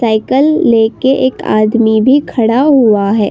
Cycle लेके एक आदमी भी खड़ा हुआ है।